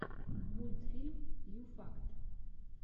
мультфильм ю факт